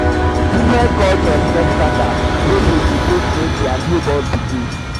different cultures get um pattern um wey dem de take name their newborn pikin